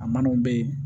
A man'o bɛ ye